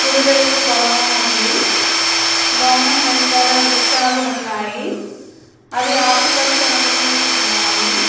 కుడివైపు భవనం ఉంది భవనం వెనకాల రుక్షలు ఉన్నాయి అవి ఆకుపచ్చని రంగులో ఉన్నాయి.